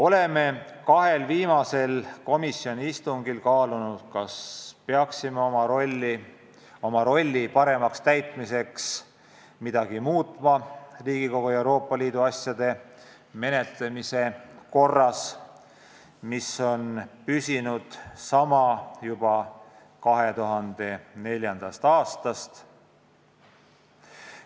Oleme kahel viimasel komisjoni istungil kaalunud, kas peaksime oma rolli paremaks täitmiseks midagi muutma Riigikogu Euroopa Liidu asjade menetlemise korras, mis on püsinud sama juba 2004. aastast.